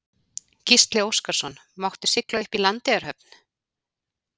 Gísli Óskarsson: Máttu sigla upp í Landeyjahöfn?